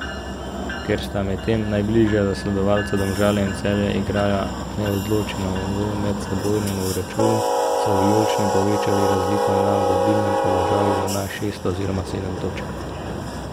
Ker sta medtem najbližja zasledovalca Domžale in Celje igrala neodločeno v medsebojnem obračunu, so vijolični povečali razliko na vodilnem položaju na šest oziroma sedem točk.